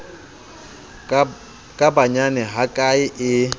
ka ba nyane hakae e